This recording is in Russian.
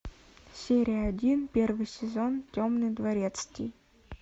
серия один первый сезон темный дворецкий